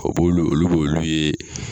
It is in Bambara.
O b'olu olu b'olu ye